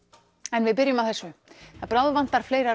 en við byrjum á þessu það bráðvantar fleira